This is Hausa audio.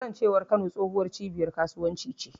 Kasancewar Kano tsohuwar cibiyar kasuwanci ce.